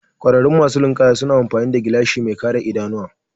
Ƙwararru masu ninkaya suna amfani da gilashi mai kare idanuwa